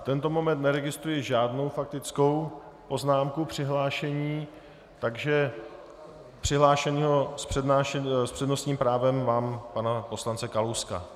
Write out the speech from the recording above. V tento moment neregistruji žádnou faktickou poznámku, přihlášení, takže přihlášeného s přednostním právem mám pana poslance Kalouska.